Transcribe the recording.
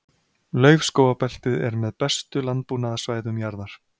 Laufskógabeltið er með bestu landbúnaðarsvæðum jarðar.